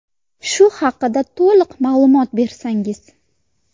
Shu haqida to‘liq ma’lumot bersangiz.